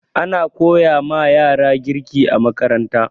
Ana koyama yara ƙirge a makaranta